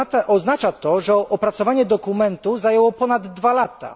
Oznacza to, że opracowanie dokumentu zajęło ponad 2 lata.